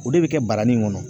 O de bɛ kɛ baranin in kɔnɔ